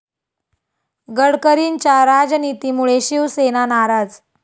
गडकरींच्या 'राज'नितीमुळे शिवसेना नाराज